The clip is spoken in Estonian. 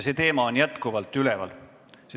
See teema on jätkuvalt üleval.